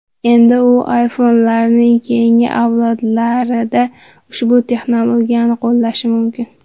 Endi u iPhone’larning keyingi avlodlarida ushbu texnologiyani qo‘llashi mumkin.